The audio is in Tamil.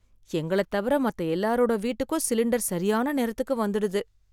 எங்களைத் தவிர மத்த எல்லாரோட வீட்டுக்கும் சிலிண்டர் சரியான நேரத்துக்கு வந்துடுது.